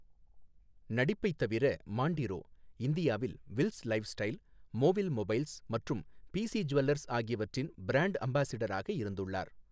நடிப்பைத் தவிர, மான்டிரோ இந்தியாவில் Wills lifestyle, மோவில் மொபைல்ஸ் மற்றும் பிசி ஜுவல்லர்ஸ் ஆகியவற்றின் பிராண்ட் அம்பாசிடராக இருந்துள்ளார்.